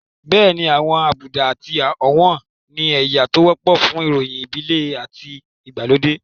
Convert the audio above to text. Bẹ́ẹ̀ni àwọn àbùdá àti ọ̀wọ̀n ni ẹ̀yà tó wọ́pọ̀ fún ìròyìn ìbílẹ̀ àti ìgbàlódé